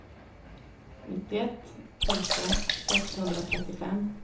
nittioett tusen sexhundratrettiofem